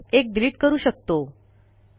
असल्यास एक डिलिट करू शकतो